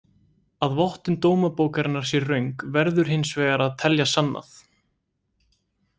Að vottun dómabókarinnar sé röng verður hins vegar að telja sannað.